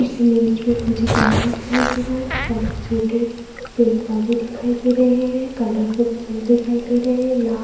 इस इमेज में मुझे गार्डन दिखाई दे रहा है। बड़े छोटे पेड़ पौधे दिखाई दे रहे हैं। कलरफुल फुल दिखाई दे रहे हैं। ला --